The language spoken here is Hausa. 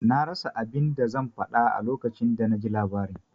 Na rasa abin da zan faɗa a lokacin da naji labarin.